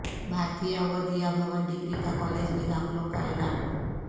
بھا رتیہ Vidya Bhavan degree college میں داخلو ں کا اعلان